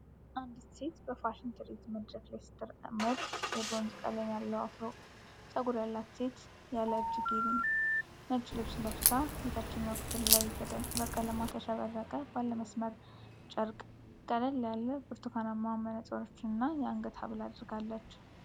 አንዲት ሴት በፋሽን ትርኢት መድረክ ላይ ስትራመድ ። የብሮንዝ ቀለም ያለው አፍሮ ፀጉር ያላት ሴት ያለ እጅጌ ነጭ ልብስ ለብሳ፣ የታችኛው ክፍል ላይ በቀለማት ያሸበረቀ ባለ መስመር ጨርቅ ።ቀለል ያሉ ብርቱካናማ መነጽሮችና የአንገት ሐብል አድርጋለች።